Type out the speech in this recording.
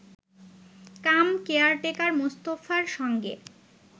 কাম caretaker মোস্তফার সঙ্গে